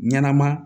Ɲɛnɛma